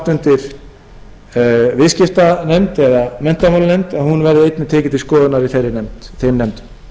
undir viðskiptanefnd eða menntamálanefnd að hún verði einnig tekin til skoðunar í þeim nefndum ég vonast einnig til að